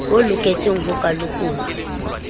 ba loketseng ho ka lekolwa